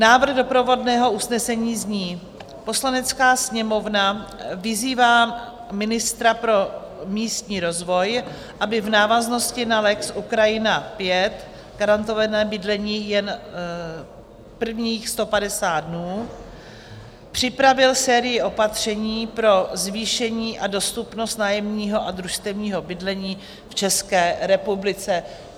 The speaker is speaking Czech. Návrh doprovodného usnesení zní: "Poslanecká sněmovna vyzývá ministra pro místní rozvoj, aby v návaznosti na lex Ukrajina V, garantované bydlení jen prvních 150 dnů, připravil sérii opatření pro zvýšení a dostupnost nájemního a družstevního bydlení v České republice."